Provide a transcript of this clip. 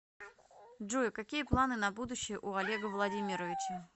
джой какие планы на будущее у олега владимировича